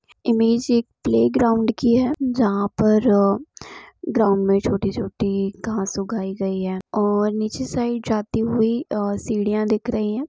Image एक playground की है जहाँ पर ग्राउन्ड मे छोटी छोटी घास उगाई गई है और नीचे साइड जाती हुई सीढ़िया दिख रही हैं।